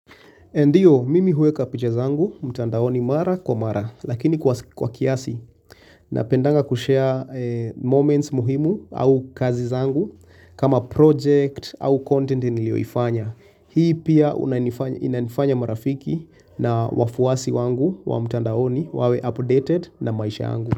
Ndiyo, mimi huweka picha zangu, mtandaoni mara kwa mara, lakini kwa kiasi napendanga kushare moments muhimu au kazi zangu kama project au content nilioifanya. Hii pia inanifanya marafiki na wafuasi wangu wa mtandaoni wawe updated na maisha yangu.